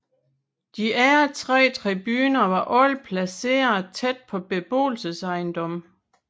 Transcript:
De andre tre tribuner var alle placeret tæt på beboelsesejendomme